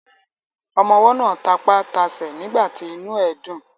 Ọmọwọ́ náà tapá tasẹ̀ nígbàtí inú ẹ̀ dùn.